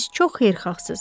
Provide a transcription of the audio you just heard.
Siz çox xeyirxahsız.